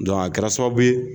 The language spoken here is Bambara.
Dɔnke a kɛra sababu ye